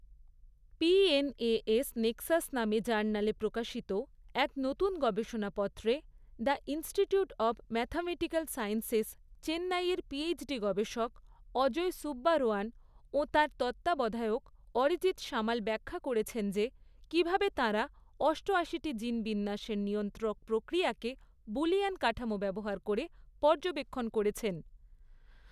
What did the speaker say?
PNAS Nexus নামে জার্নালে প্রকাশিত এক নতুন গবেষণাপত্রে the Institute of Mathematical Sciences, চেন্নাইয়ের পিএইচডি গবেষক অজয় সুব্বারোয়ান ও তাঁর তত্ত্বাবধায়ক অরিজিৎ সামাল ব্যাখ্যা করেছেন যে কীভাবে তাঁরা অষ্টয়াশিটি জিন বিন্যাসের নিয়ন্ত্রক প্রক্রিয়াকে বুলিয়ান কাঠামো ব্যবহার করে পর্যবেক্ষণ করেছেন।